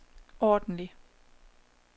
ordentlig